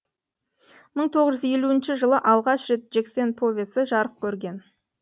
мың тоғыз жүз елуінші жылы алғаш рет жексен повесі жарық көрген